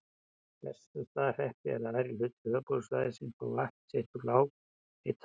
Bessastaðahreppi, en aðrir hlutar höfuðborgarsvæðisins fá vatn sitt úr lághitasvæðum í